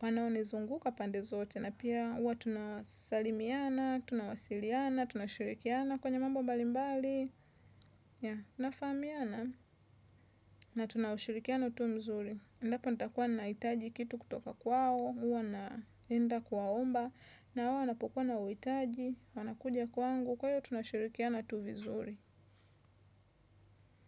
Wanaonizunguka pande zote na pia huwa tunasalimiana, tunawasiliana, tunashirikiana kwenye mambo mbalimbali. Ya, nafahamiana na tunashirikiana utu mzuri. Endapo nitakuwa nahitaji kitu kutoka kwao, huwa naenda kuwaomba, na wao wanapokuwa na uhitaji, wanakuja kwangu, kwa hiyo tunashirikiana tu vizuri.